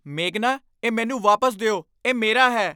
ਮੇਘਨਾ, ਇਹ ਮੈਨੂੰ ਵਾਪਸ ਦਿਓ। ਇਹ ਮੇਰਾ ਹੈ!